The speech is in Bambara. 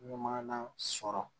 Maana sɔrɔ